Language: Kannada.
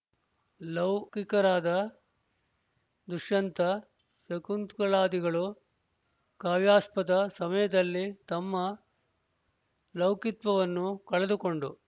ಲೌ ಕಿಕರಾದ ದುಷ್ಯಂತ ಶಕುಂತಲಾದಿಗಳು ಕಾವ್ಯಾಸ್ವಾದ ಸಮಯದಲ್ಲಿ ತಮ್ಮ ಲೌಕಿತ್ವವನ್ನು ಕಳೆದುಕೊಂಡು